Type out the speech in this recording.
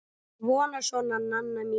Svona, svona, Nanna mín.